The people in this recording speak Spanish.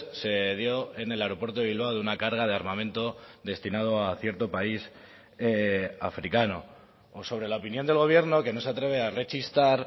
se dio en el aeropuerto de bilbao de una carga de armamento destinado a cierto país africano o sobre la opinión del gobierno que no se atreve a rechistar